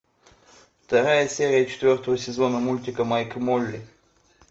вторая серия четвертого сезона мультика майк и молли